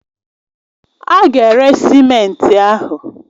A ga-ere simenti ahụ